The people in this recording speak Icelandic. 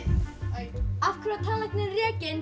einn af hverju var tannlæknirinn rekinn